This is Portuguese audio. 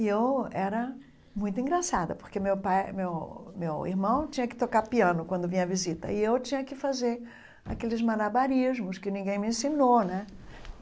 E eu era muito engraçada, porque meu pai meu meu irmão tinha que tocar piano quando vinha à visita e eu tinha que fazer aqueles malabarismos que ninguém me ensinou né.